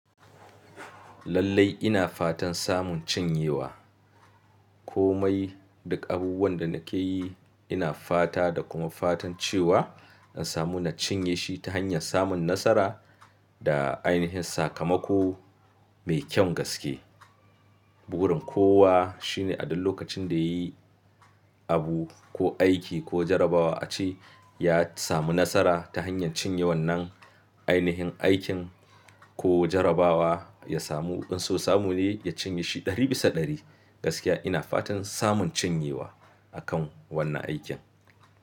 Lallai ina fatan samun cinyewa. Komai duk abubuwan da nake yi ina fata da kuma fatan cewa in samu na cinye shi ta hanyar samun nasara da ainihin sakamako mai kyan gaske. Burin kowa shine a duk lokacin da yayi abu ko aiki ko jarrabawa a ce ya samu nasara ta hanyar cinye wannan ainihin aikin ko jarrabawa ya samu. In so samu ne ya cinye shi ɗari bisa ɗari. Gaskiya ina fatan samun cinyewa akan wannan aikin.